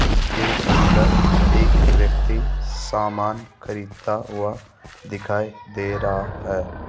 जिसके अंदर एक व्यक्ति सामान खरीदता हुआ दिखाई दे रहा है।